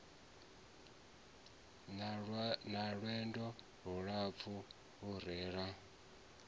na lwendo lulapfu lune ra